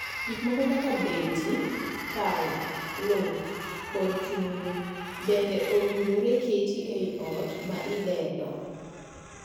Gik moko kaka beti, pala, luth, kod chumbe bende owinjore ket ei ot ma idedo.